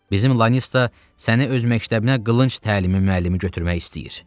Bizim Lanista səni öz məktəbinə qılınc təlimi müəllimi götürmək istəyir.